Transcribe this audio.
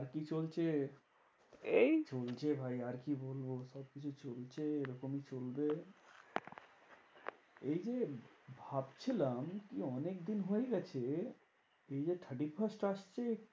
আর কি চলছে? এই চলছে ভাই আর কি বলবো? সবকিছু চলছে এরকমই চলবে। এই যে ভাবছিলাম কি অনেকদিন হয়ে গেছে, এই যে thirty-first আসছে,